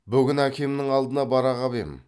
бүгін әкемнің алдына бара қап ем